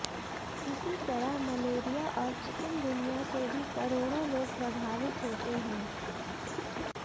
इसी तरह मलेरिया और चिकनगुनिया से भी करोड़ों लोग प्रभावित होते हैं